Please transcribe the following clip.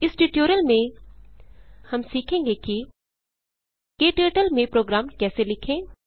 इस ट्यटोरियल में हम सीखेंगे कि क्टर्टल में प्रोग्राम कैसे लिखें